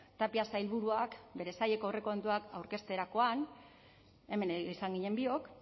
tapia sailburuak bere saileko aurrekontuak aurkezterakoan hemen izan ginen biok